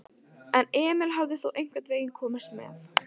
En Emil hafði þó einhvern veginn komist með.